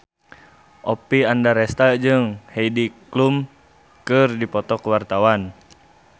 Oppie Andaresta jeung Heidi Klum keur dipoto ku wartawan